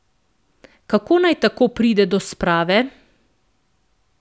Kako naj tako pride do sprave?